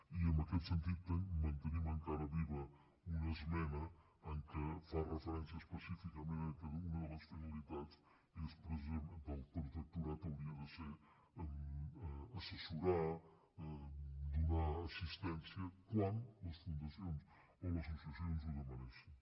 i en aquest sentit mantenim encara viva una esmena que fa referència específicament al fet que una de les finalitats del protectorat hauria de ser assessorar donar assistència quan les fundacions o les associacions ho demanessin